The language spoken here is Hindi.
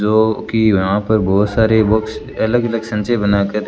जो कि यहां पर बहुत सारे बुक्स अलग इलेक्शन से बना कर--